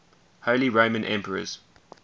holy roman emperors